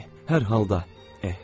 Hər halda, eh, başa düşürəm.